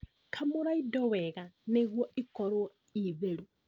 Kamũra indo wega nĩguo ikorwo itheru